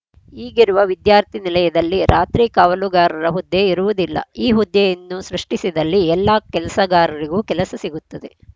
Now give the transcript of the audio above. ಈಗಿರುವ ವಿದ್ಯಾರ್ಥಿ ನಿಲಯದಲ್ಲಿ ರಾತ್ರಿ ಕಾವಲುಗಾರರ ಹುದ್ದೆ ಇರುವುದಿಲ್ಲ ಈ ಹುದ್ದೆಯನ್ನು ಸೃಷ್ಟಿಸಿದಲ್ಲಿ ಎಲ್ಲ ಕೆಲಸಗಾರರಿಗೂ ಕೆಲಸ ಸಿಗುತ್ತದೆ